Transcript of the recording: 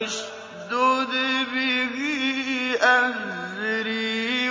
اشْدُدْ بِهِ أَزْرِي